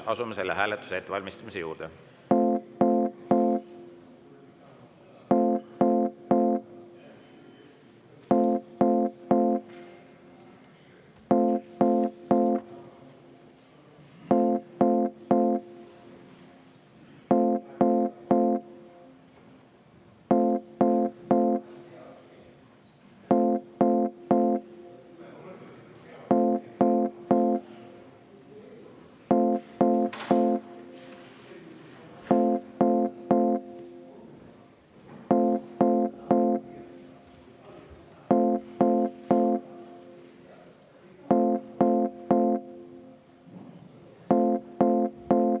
Asume selle hääletuse ettevalmistamise juurde.